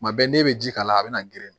Kuma bɛɛ n'i bɛ ji k'a la a bɛ na grin